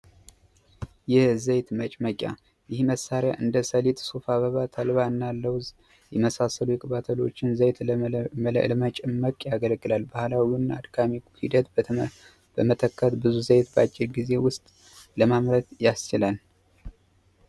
ይህ ዘይት መጭመቂያ ይህ መሣሪያ እንደ ሰሌት ስፋ በባ ተልባ እና ለውዝ የመሳሰሉ የቅባተሎችን ዘይት ለመጭመቅ ያገለግላል ባኋላዊውን አድካሚኩ ሂደት በመተከት ብዙ ዘይት በአጭር ጊዜ ውስጥ ለማምረት ያስችላል